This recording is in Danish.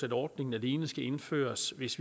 at ordningen alene skal indføres hvis